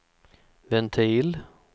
ventil